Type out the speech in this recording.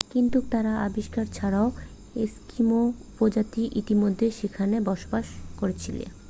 কিন্তু তার আবিষ্কার ছাড়াও এস্কিমো উপজাতিরা ইতিমধ্যে সেখানে বসবাস করছিল